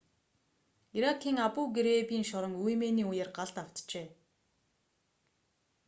иракийн абу-грейбийн шорон үймээний үеэр галд автжээ